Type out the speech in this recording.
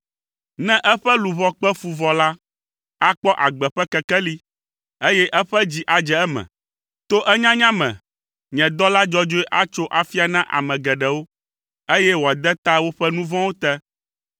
Ne eƒe luʋɔ kpe fu vɔ la, akpɔ agbe ƒe kekeli, eye eƒe dzi adze eme; to enyanya me, nye dɔla dzɔdzɔe atso afia na ame geɖewo, eye wòade ta woƒe nu vɔ̃wo te,